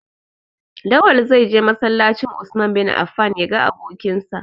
Lawal zai je masallacin "Usman bin Affan" ya ga abokinsa.